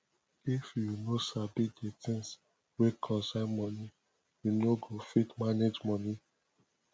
if yu no sabi di things wey concern moni yu no go fit manage moni